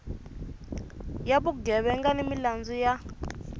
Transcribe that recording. ya vugevenga ni milandzu ya